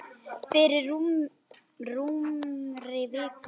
Fyrir rúmri viku.